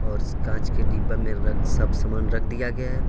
और इस कांच के डिब्बा में सब समान रख दिया गया है।